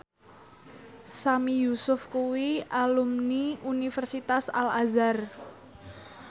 Sami Yusuf kuwi alumni Universitas Al Azhar